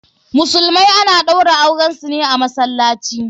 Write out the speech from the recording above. Musulmai ana ɗaura auren su ne a masallaci.